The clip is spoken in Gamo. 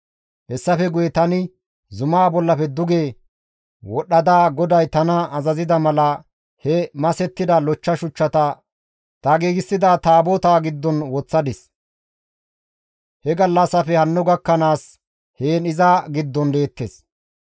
Hessafe guye tani zumaa bollafe duge wodhdhada GODAY tana azazida mala he masettida lochcha shuchchata ta giigsida Taabotaa giddon woththadis; he gallassafe hanno gakkanaas heen iza giddon deettes.